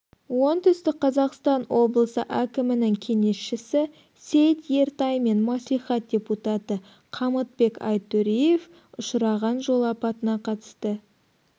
оңтүстік қазақстан облысы әкімінің кеңесшісі сейіт ертай мен мәслихат депутаты қамытбек айтөреев ұшыраған жол апатына қатысты